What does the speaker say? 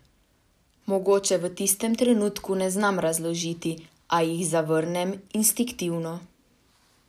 Mogoče v tistem trenutku ne znam razložiti, a jih zavrnem, instinktivno.